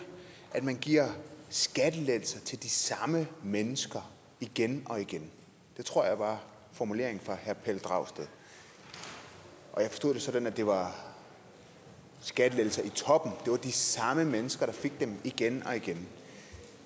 at man giver skattelettelser til de samme mennesker igen og igen det tror jeg var formuleringen fra herre pelle dragsted og jeg forstod det sådan at det var skattelettelser til de samme mennesker igen og igen